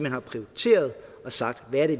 har prioriteret og sagt hvad det